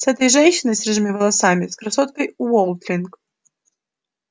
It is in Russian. с этой женщиной с рыжими волосами с красоткой уотлинг